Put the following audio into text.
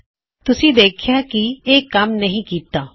ਹੁਣ ਤੁਸੀਂ ਦੇਖੋਂਗੇ ਕੀ ਇਹ ਕੰਮ ਨਹੀ ਕਿੱਤਾ